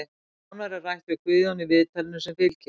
Nánar er rætt við Guðjón í viðtalinu sem fylgir.